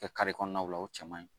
kare kɔnɔnaw la o cɛ man ɲi